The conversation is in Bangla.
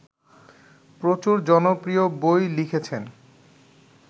প্রচুর জনপ্রিয় বই লিখেছেন